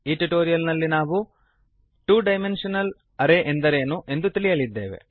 ಈ ಟ್ಯುಟೋರಿಯಲ್ ನಲ್ಲಿ ನಾವು ತಿಳಿಯುವ ಅಂಶಗಳು160 ಟು ಡೈಮೆಂಶನಲ್ ಅರೇ ಎಂದರೇನು